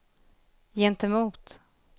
gentemot